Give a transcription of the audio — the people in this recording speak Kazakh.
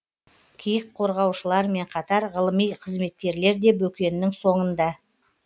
киік қорғаушылармен қатар ғылыми қызметкерлер де бөкеннің соңында